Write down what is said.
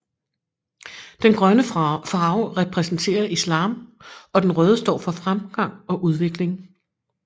Den grønne farve repræsenterer islam og den røde står for fremgang og udvikling